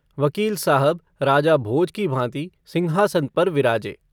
वकील साहब राजा भोज की भाँति सिंहासन पर विराजे।